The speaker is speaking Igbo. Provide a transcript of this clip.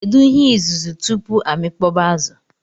Kedu ihe izuzu tupu amikpọba azu?